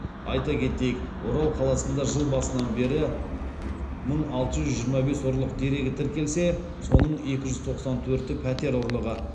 айта кетейік орал қаласында жыл басынан бері мың алты жүз жиырма бес ұрлық дерегі тіркелсе соның екі жүз тоқсан төрті пәтер ұрлығы